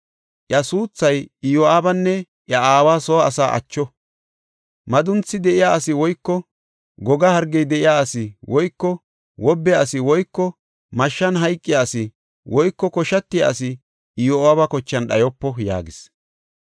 Iya suuthay Iyo7aabanne iya aawa soo asa acho; madunthi de7iya asi woyko goga hargey de7iya asi woyko wobbe asi woyko mashshan hayqiya asi woyko koshatiya asi Iyo7aaba kochan dhayopo” yaagis.